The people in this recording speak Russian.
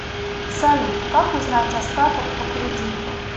салют как узнать остаток по кредиту